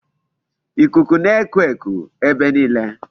Ikuku na-eku eku ebe niile.